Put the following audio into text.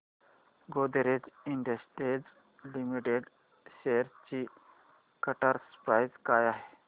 Godrej Industries Limited shares ची current price काय आहे